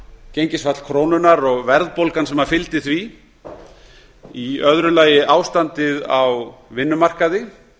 gengisfall krónunnar og verðbólgan sem fylgdi því í öðru lagi ástandið á vinnumarkaði